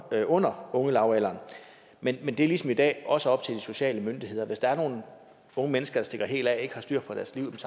der er under ungelavalderen men det er ligesom i dag også op til de sociale myndigheder hvis der er nogle unge mennesker der stikker helt af og ikke har styr på deres liv